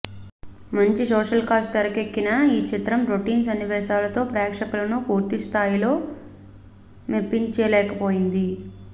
మంచి social cause తెరకెక్కిన ఈ చిత్రం రొటీన్ సన్నివేశాలతో ప్రేక్షకులను పూర్తి స్థాయిలో మెప్పించలేకపోయింది